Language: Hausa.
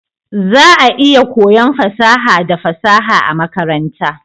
Za'a iya koyon fasaha da fasaha a makaranta.